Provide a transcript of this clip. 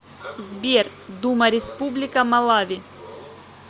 сбер дума республика малави